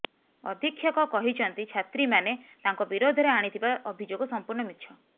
ଅଧୀକ୍ଷକ କହିଛନ୍ତି ଛାତ୍ରୀମାନେ ତାଙ୍କ ବିରୋଧରେ ଆଣିଥିବା ଅଭିଯୋଗ ସମ୍ପୂର୍ଣ୍ଣ ମିଛ